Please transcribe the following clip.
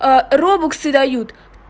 а робоксы дают